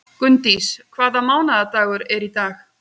Gunndís, hvaða mánaðardagur er í dag?